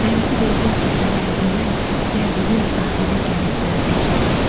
Dənizi verdim ki, sənə hədiyyə, gəldiyim sahilə gələsən bir də.